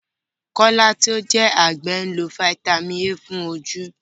Kọ́lá tí ó jẹ́ àgbẹ̀ lo Fítámìnì A fún ojú.